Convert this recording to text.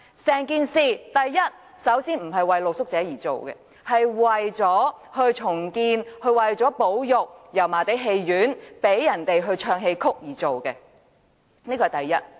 首先，整項工程本身並非為露宿者而設，而是為了重建和保育油麻地戲院，讓市民唱戲曲，此其一。